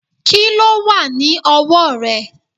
Kíló wà ní ọwọ́ rẹ̀?